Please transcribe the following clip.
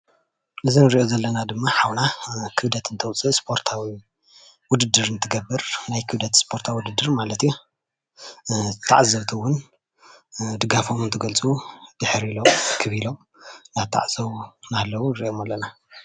እዚ እንሪኦ ዘለና ድማ ሓውና ክብደት እንተውፅእ እስፖርታዊ ውድድር እንትገብር ናይ ክብደት እስፖርታዊ ውድድር ማለት እዩ፡፡ ተዓዘብቲ እውን ድጋፎም እንትገልፁ ድሕር ኢሎም እክብ ኢሎም እንዳተዓዘብዎ እናሃለው ንርኦም ኣለና ፡፡